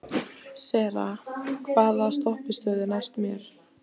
Sera, hvaða stoppistöð er næst mér?